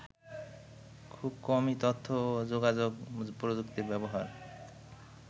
খুব কমই তথ্য ও যোগাযোগ প্রযুক্তির ব্যবহার